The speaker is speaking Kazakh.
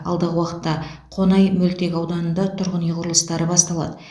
алдағы уақытта қонай мөлтек ауданында тұрғын үй құрылыстары басталады